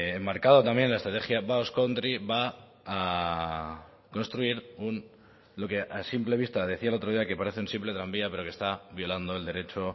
enmarcado también en la estrategia basque country va a construir lo que a simple vista decía el otro día parece un simple tranvía pero que está violando el derecho